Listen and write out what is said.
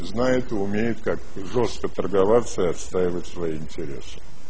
знает и умеет как жёстко торговаться и отстаивать свои интересы